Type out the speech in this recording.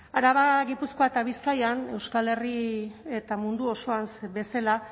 araba gipuzkoa eta bizkaian euskal herri eta mundu osoan bezala